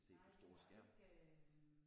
Nej det var ikke